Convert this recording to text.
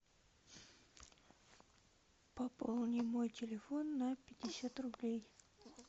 пополни мой телефон на пятьдесят рублей